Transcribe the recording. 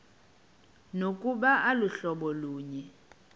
nokuba aluhlobo lunye